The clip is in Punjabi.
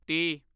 ਤੀਹ